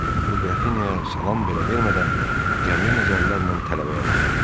O Qrafinyaya salam belə vermədən qəmli nəzərlərlə tələbəyə baxdı.